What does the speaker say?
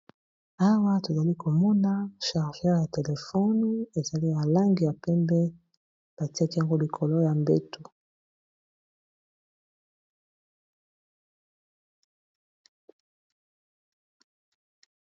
Awa tozali komona chargeur ya telefone ezali na langi ya pembe batiaki yango likolo ya mbetu.